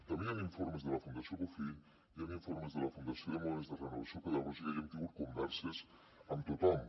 també hi han informes de la fundació bofill hi han informes de la federació de moviments de renovació pedagògica i hem tingut converses amb tothom